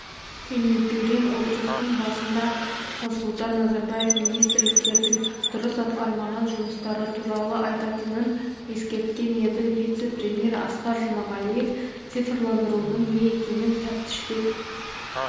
кеңейтілген отырыстың басында-ақ нұрсұлтан назарбаев министрлердің дұрыс атқармаған жұмыстары туралы айтатынын ескерткен еді вице-премьер асқар жұмағалиев цифрландырудың не екенін тәптіштеп